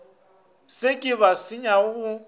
se ke ba senyega go